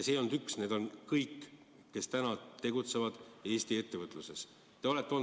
Neid ei olnud üks, vaid nende hulgas on kõik, kes täna Eesti ettevõtluses tegutsevad.